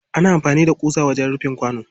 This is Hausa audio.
ana amfani da ƙusa wajen rufin kwano.